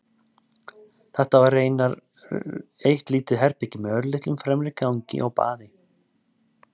Þetta var raunar eitt lítið herbergi með örlitlum fremri gangi og baði.